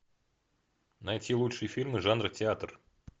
найти лучшие фильмы жанра театр